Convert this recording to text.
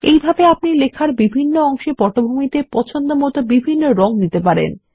এইভাবে আপনি লেখার বিভিন্ন অংশে পটভূমিতে পছন্দমত বিভিন্ন রং দিতে পারেন